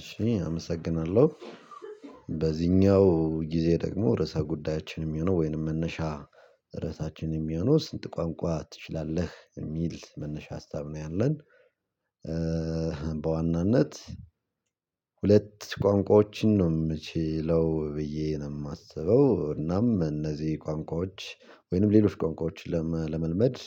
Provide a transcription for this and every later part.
እሺ አመሰግናለሁ በዚህኛው ጊዜ ደግሞ ርዕሰ ጉዳያችን የሚሆነው ወይንም መነሻ ርዕሳችን የሚሆነው ስንት ቋንቋ ትችላለህ የሚል መነሻ ሀሳብ ነው ያለን? በዋናነት ሁለት ቋንቋዎችን ነው የምችለው ብዬ ነው የማስበው። እናም እነዚህ ቋንቋዎች ወይንም ሌሎች ቋንቋዎች ለመልመድ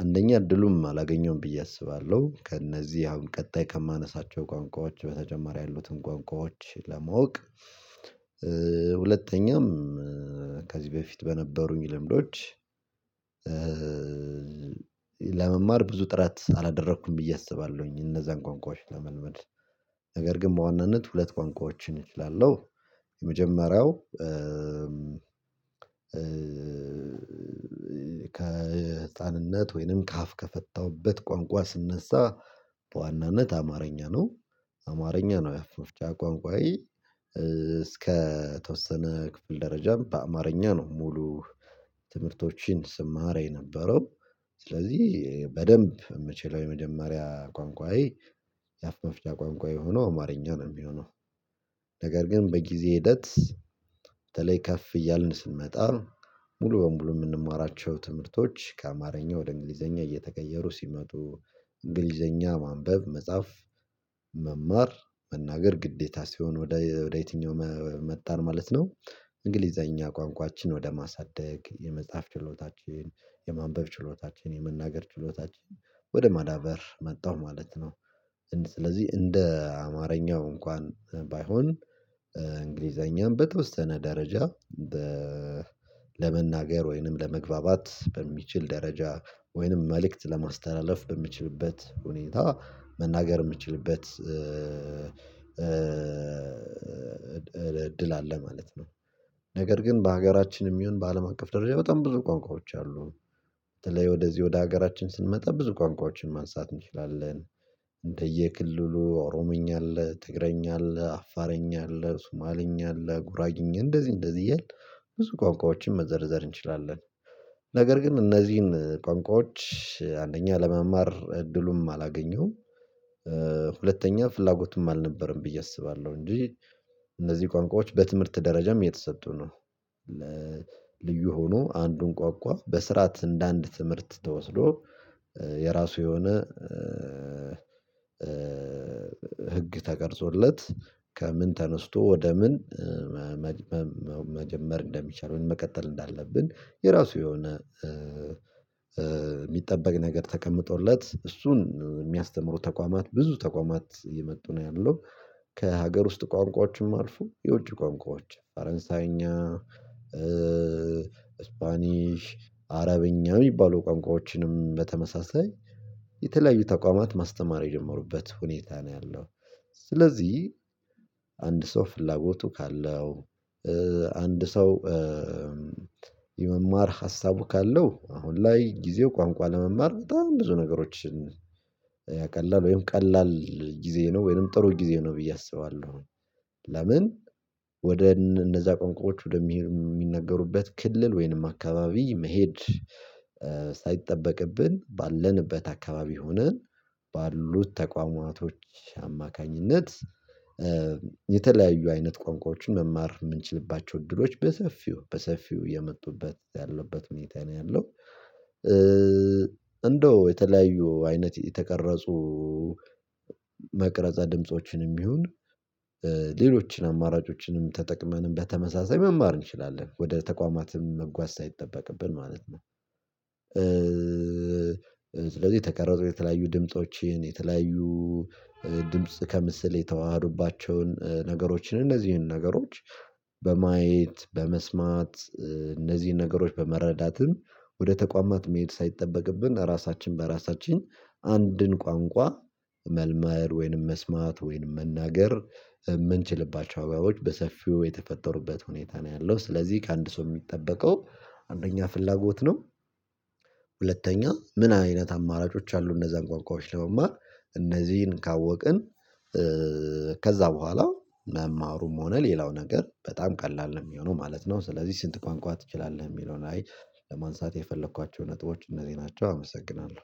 አንደኛ እድሉም አላገኘሁም ብዬ አስባለሁ። ከእነዚህ አሁን ቀጣይ ከማነሳቸው ቋንቋዎች በተጨማሪ ያሉትን ቋንቋዎች ለማወቅ ሁለተኛም ከዚህ በፊት በነበሩኝ ልምዶች። ለመማር ብዙ ጥረት አላደረኩም ብዬ አስባለሁኝ እነዛን ቋንቋዎች ለመልመድ ነገር ግን በዋናነት ሁለት ቋንቋዎችን እችላለሁ። የመጀመሪያው ከህፃንነት ወይንም ከአፍ ከፈታሁበት ቋንቋ ስነሳ በዋናነት አማርኛ ነው። አማርኛ ነው የአፍ መፍቻ ቋንቋዬ። እስከ ተወሰነ ክፍል ደረጃም በአማርኛ ነው ሙሉ። ትምህርቶችን ስማር የነበረው ስለዚህ በደንብ የምችለው የመደማሪያ ቋንቋዬ። የአፍ መፍጫ ቋንቋዬ ሆኖ አማርኛ ነው የሚሆነው። ነገር ግን በጊዜ ሂደት። በተለይ ከፍ እያልን ስንመጣ ሙሉ በሙሉ የምንማራቸው ትምህርቶች ከአማርኛ ወደ እንግሊዘኛ እየተቀየሩ ሲመጡ። እንግሊዘኛ ማንበብ መጻፍ መማር መናገር ግዴታ ሲሆን ወደ የትኛው መጣን ማለት ነው። እንግሊዘኛ ቋንቋችን ወደ ማሳደግ የመጽሐፍ ችሎታችን የማንበብ ችሎታችን የመናገር ችሎታችን ወደ ማዳበር መጣሁ ማለት ነው። ስለዚህ እንደ አማርኛው እንኳን ባይሆን እንግሊዘኛም በተወሰነ ደረጃ ለመናገር ወይንም ለመግባባት በሚችል ደረጃ ወይንም መልእክት ለማስተላለፍ በምችልበት ሁኔታ መናገር የምችልበት እድል አለ ማለት ነው። ነገር ግን በሀገራችን የሚሆን በአለም አቀፍ ደረጃ በጣም ብዙ ቋንቋዎች አሉን በተለይ ወደዚህ ወደ ሀገራችን ስንመጣ ብዙ ቋንቋዎችን ማንሳት እንችላለን። እንደየ ክልሉ ኦሮምኛ አለ ትግርኛ አለ አፋርኛ አለ ሱማልኛ አለ ጉራኛ አለ እንደዚህ እንደዚህ እያልክ ብዙ ቋንቋዎችን መዘርዘር እንችላለን። ነገር ግን እነዚህን ቋንቋዎች አንደኛ ለመማር እድሉም አላገኘሁም። ሁለተኛ ፍላጎትም አልነበረም ብዬ አስባለሁ እንጂ። እነዚህ ቋንቋዎች በትምህርት ደረጃም የተሰጡ ነው። ለልዩ ሆኖ አንዱን ቋንቋ በስርዓት እንደ አንድ ትምህርት ተወስዶ የራሱ የሆነ ሕግ ተቀርፆለት ከምን ተነስቶ ወደ ምን መጀመር እንደሚቻል ምን መቀጠል እንዳለብን የራሱ የሆነ የሚጠበቅ ነገር ተቀምጦለት እሱን የሚያስተምሩ ተቋማት ብዙ ተቋማት የእመጡ ነው ያለው። ከሀገር ውስጥ ቋንቋዎችም አልፎ የውጪ ቋንቋዎች ፈረንሳይኛ ስፓኒሽ አረብኛ የሚባሉ ቋንቋዎችንም በተመሳሳይ የተለያዩ ተቋማት ማስተማር የጀመሩበት ሁኔታ ነው ያለው። ስለዚህ አንድ ሰው ፍላጎቱ ካለው አንድ ሰው የመማር ሀሳቡ ካለው አሁን ላይ ጊዜው ቋንቋ ለመማር በጣም ብዙ ነገሮችን ያቀላል ወይም ቀላል ጊዜ ነው ወይም ጥሩ ጊዜ ነው ብዬ አስባለሁ። ወደ እነዛ ቆንቃዎች ወደ የሚነገሩበት ክልል ወይንም አካባቢ መሄድ ሳይጠበቅብን ባለንበት አካባቢ ሆነን ባሉት ተቋማቶች አማካኝነት የተለያዩ አይነት ቋንቋዎችን መማር የምንችልባቸው እድሎች በሰፊው በሰፊው የመጡበት ያለበት ሁኔታ ነው ያለው። እንደው የተለያዩ አይነት የተቀረጹ መቅረፀ ድምጾችንም ይሁን ሌሎችን አማራጮችንም ተጠቅመን በተመሳሳይ መማር እንችላለን ወደ ተቋማትም መጓዝ ሳይጠበቅብን ማለት ነው። ስለዚህ ተቀረጥኩ የተለያዩ ድምፆችን የተለያዩ ድምጽ ከምስል የተዋሃዱባቸውን ነገሮችን እንደዚህ ነገሮች በማየት በመስማት እነዚህን ነገሮች በመረዳትም ወደ ተቋማት መሄድ ሳይጠበቅብን ራሳችን በራሳችን አንድን ቋንቋ መልመድ ወይንም መስማት ወይንም መናገር የምንችልባቸው ወይዎች በሰፊው የተፈጠሩበት ሁኔታ ነው ያለው ስለዚህ ከአንድ ሰው የሚጠበቀው አንደኛ ፍላጎት ነው። ሁለተኛ ምን አይነት አማራጮች አሉ እነዛን ቋንቋዎች ለመማር እነዚህን ካወቅን ከዛ በኋላ መማሩም ሆነ ሌላው ነገር በጣም ቀላል ነው የሚሆነው ማለት ነው። ስለዚህ ስንት ቋንቋ ትችላለህ የሚለው ላይ ለማንሳት የፈለኳቸው ነጥቦች እነዚህ ናቸው። አመሰግናለሁ